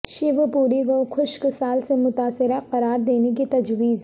شیوپوری کو خشک سال سے متاثرہ قرار دینے کی تجویز